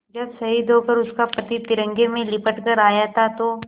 जब शहीद होकर उसका पति तिरंगे में लिपट कर आया था तो